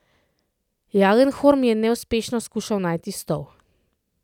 Jalenhorm je neuspešno skušal najti stol.